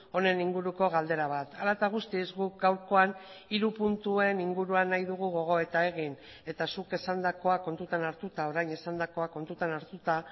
honen inguruko galdera bat hala eta guztiz guk gaurkoan hiru puntuen inguruan nahi dugu gogoeta egin eta zuk esandakoa kontutan hartuta orain esandakoa kontutan hartuta